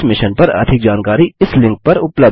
इस मिशन पर अधिक जानकारी इस लिंक पर उपलब्ध है